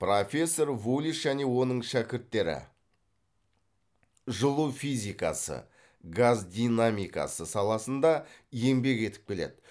профессор вулис және оның шәкірттері жылу физикасы газ динамикасы саласында еңбек етіп келеді